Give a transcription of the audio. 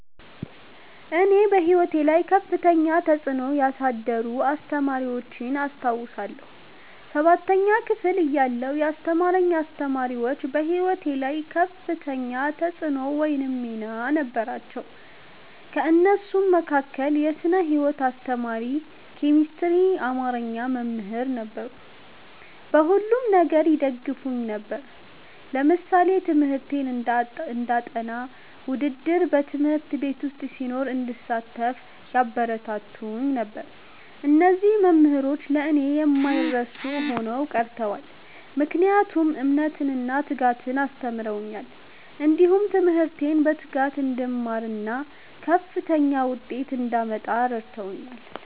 እኔ በሕይወቴ ላይ ከፍተኛ ተጽዕኖ ያሳደሩ አስተማሪዎችን አስታውሳለሁ። ሠባተኛ ክፍል እያለሁ ያስተማሩኝ አስተማሪዎች በህይወቴ ላይ ከፍተኛ ተፅዕኖ ወይም ሚና ነበራቸው። ከእነሱም መካከል የስነ ህይወት አስተማሪ፣ ኬሚስትሪና አማርኛ መምህራን ነበሩ። በሁሉም ነገር ይደግፉኝ ነበር። ለምሳሌ ትምህርቴን እንዳጠ፤ ውድድር በ ት/ቤት ዉስጥ ሲኖር እንድሳተፍ ያበረታቱኝ ነበር። እነዚህ መምህሮች ለእኔ የማይረሱ ሆነው ቀርተዋል። ምክንያቱም እምነትን እና ትጋትን አስተምረውኛል። እንዲሁም ትምህርቴን በትጋት እንድማርና ከፍተኛ ዉጤት እንዳመጣ እረድተውኛል።